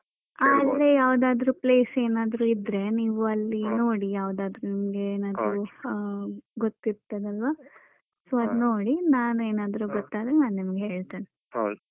ಹ ಅಲ್ಲೇ ಯಾವ್ದಾದ್ರು place ಏನಾದ್ರು ಇದ್ರೆ ನೀವ್ ಅಲ್ಲಿ ನೋಡಿ ಯಾವದಾದ್ರು ನಿಮ್ಗೆ ಏನಾದ್ರು ಗೊತ್ತಿರ್ತದಲ್ವಾ so ಅದು ನೋಡಿ ನಾನು ಏನಾದ್ರು ಹ ಗೊತ್ತಾದ್ರೆ ನಾನ್ ನಿಮ್ಗೆ ಹೇಳ್ತೇನೆ.